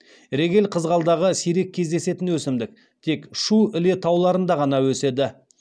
регель қызғалдағы сирек кездесетін өсімдік тек шу іле тауларында ғана өседі